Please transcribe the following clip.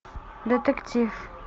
детектив